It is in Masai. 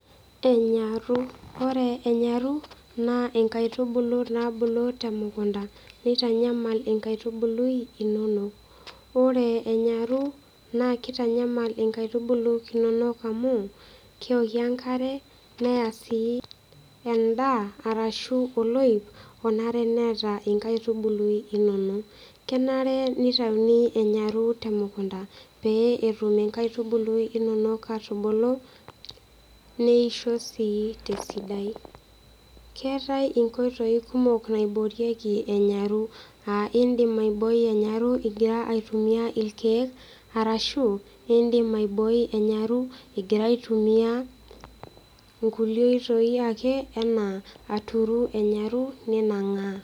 Enyarru, oore enyarru, naa inkaitubulu naabulu temukunda, neitanyamal inkautubului inonok. Oore enyaru naa keitanyamal inkaitubulu inonok amuu, keokie enkare, neya sii en'daa arashu oloip onare neeta inkaitubulu inonok. Kenare neitauni enyaru temukunda, pee etum inkaitubului inonok atubulu, neisho sii tesidai. Keetae inkoitoi kumok naiborieki enyaru, aah iin'dim aibooi enyaru igira aitumia irkeek, arashi iidim aibooi enyaru igira aitumia inkulie oitoi aake anaa aturu enyaru ninang'aa.